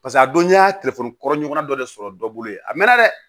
Paseke a don n'i y'a telefɔni kɔrɔ ɲɔgɔnna dɔ de sɔrɔ dɔ bolo ye a mɛɛnna dɛ